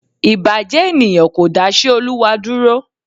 Ìbàjẹ́ ènìyàn kò dáṣẹ́ Olúwa dúró